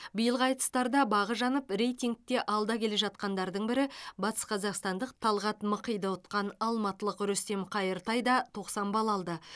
биылғы айтыстарда бағы жанып рейтингте алда келе жатқандардың бірі батысқазақстандық талғат мықиды ұтқан алматылық рүстем қайыртай да тоқсан балл алды